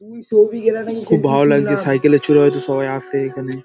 খুব ভালো লাগছে সাইকেলে চড়ে হয়তো সবাই আসছে এখানে ।